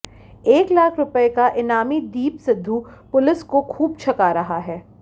एक लाख रुपये का इनामी दीप सिद्धू पुलिस को खूब छका रहा है